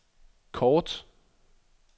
kort